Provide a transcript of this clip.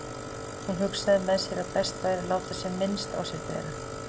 Hún hugsaði með sér að best væri að láta sem minnst á sér bera.